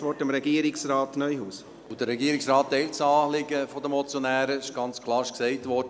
Der Regierungsrat teilt das Anliegen der Motionäre, das ist ganz klar, und es ist gesagt worden: